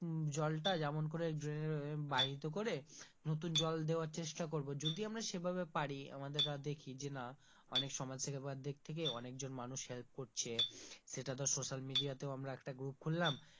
জলটা যেমন করে বাহিত করে নতুন জল দেওয়ার চেষ্টা করব যদি আমরা সেভাবে পারি আমাদের যে দেখি না অনেক সমাজ থেকে বা দিক থেকে অনেক জন মানুষ help করছে সেটা ধর social media তে আমরা একটা group খুললাম,